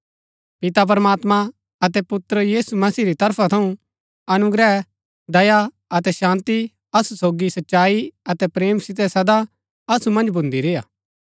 पिता प्रमात्मां अतै पुत्र यीशु मसीह री तरफा थऊँ अनुग्रह दया अतै शान्ती असु सोगी सच्चाई अतै प्रेम सितै सदा असु मन्ज भुन्दी रेय्आ